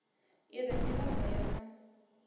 i re milomo yo no